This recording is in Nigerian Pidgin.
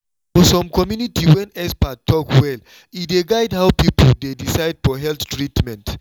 for some community when expert talk well e dey guide how people dey decide for health treatment.